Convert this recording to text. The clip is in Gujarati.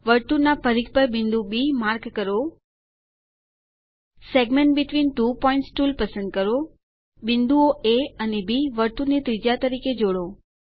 વર્તુળના પરિઘ પર બિંદુ બી માર્ક કરો segment between two points tool પસંદ કરો બિંદુઓ એ અને બી વર્તુળની ત્રિજ્યા તરીકે જોડો